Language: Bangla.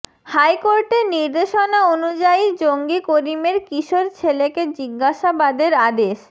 হাইকোর্টের নির্দেশনা অনুযায়ীই জঙ্গি করিমের কিশোর ছেলেকে জিজ্ঞাসাবাদের আদেশ